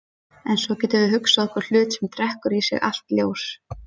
En svo getum við hugsað okkur hlut sem drekkur í sig allt ljós.